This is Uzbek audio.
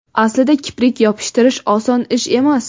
Aslida kiprik yopishtirish oson ish emas.